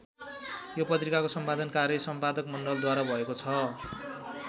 यो पत्रिकाको सम्पादन कार्य सम्पादक मण्डलद्वारा भएको छ।